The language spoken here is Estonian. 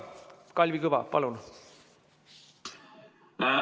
Kalvi Kõva, palun!